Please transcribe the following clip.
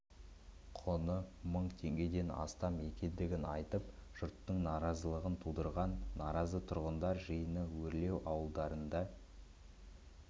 құны мың теңгеден астам екендігін айтып жұрттың наразылығын туғызған наразы тұрғындар жиыны өрлеу ауылдарында